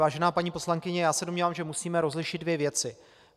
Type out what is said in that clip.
Vážená paní poslankyně, já se domnívám, že musíme rozlišit dvě věci.